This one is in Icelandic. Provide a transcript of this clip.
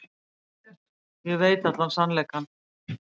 Ég veit allan sannleikann.